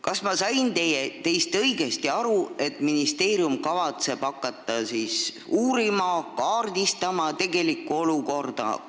Kas ma sain teist õigesti aru, et ministeerium kavatseb hakata uurima ja kaardistama tegelikku olukorda?